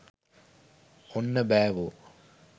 ඔන්න බෑවෝ.